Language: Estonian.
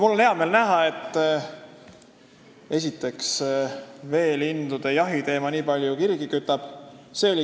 Mul on hea meel näha, esiteks, et veelinnujahi teema nii palju kirgi kütab.